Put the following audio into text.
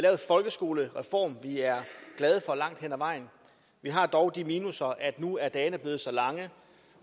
folkeskolereform vi er glade for langt hen ad vejen vi har dog de minusser at nu er dagene blevet så lange